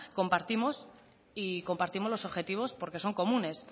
compartimos los objetivos porque son comunes